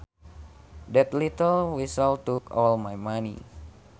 That little weasel took all my money